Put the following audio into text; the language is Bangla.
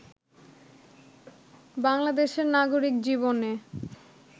বাংলাদেশের নাগরিক জীবনে